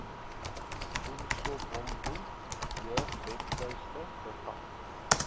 umsobomvu jeugwebtuiste bevat